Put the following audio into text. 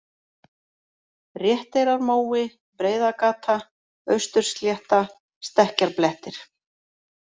Réttareyrarmói, Breiðagata, Austurslétta, Stekkjarblettir